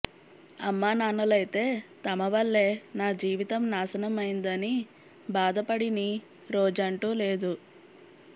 అమ్మానాన్నలైతే తమ వళ్లే నా జీవితం నాశనం అయిందని బాదపడిని రోజంటూ లేదు